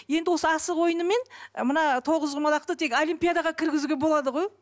енді осы асық ойыны мен ы мына тоғызқұмалақты тек олимпиадаға кіргізуге болады ғой